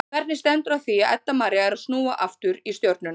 En hvernig stendur á því að Edda María er að snúa aftur í Stjörnuna?